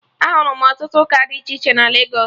Ahụrụ m ọtụtụ ụka dị iche iche na Legos